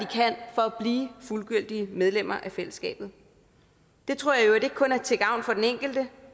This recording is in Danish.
blive fuldgyldige medlemmer af fællesskabet det tror jeg ikke kun er til gavn for den enkelte